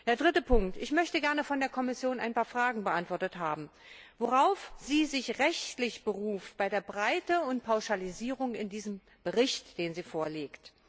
Der dritte Punkt Ich möchte gerne von der Kommission ein paar Fragen beantwortet haben Worauf beruft sie sich rechtlich bei der Breite und Pauschalisierung in diesem Bericht, den sie vorlegt?